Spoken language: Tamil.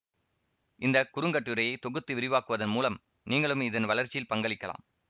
இந்த குறுங்கட்டுரையை தொகுத்து விரிவாக்குவதன் மூலம் நீங்களும் இதன் வளர்ச்சியில் பங்களிக்கலாம்